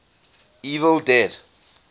evil dead